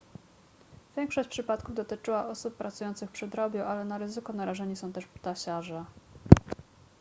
większość przypadków dotyczyła osób pracujących przy drobiu ale na ryzyko narażeni są też ptasiarze